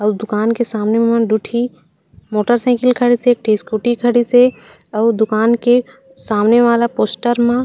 अउ दूकान के सामने म दू ठी मोटरसाइकिल खड़ीसे एक ठी स्कूटी खड़ीसे अउ दुकान के सामने वाला पोस्टर मा--